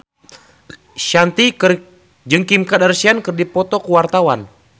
Shanti jeung Kim Kardashian keur dipoto ku wartawan